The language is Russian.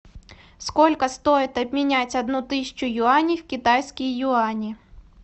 сколько стоит обменять одну тысячу юаней в китайские юани